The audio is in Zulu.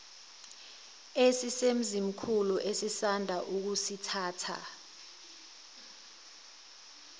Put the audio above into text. esisemzimkhulu esisanda kusithatha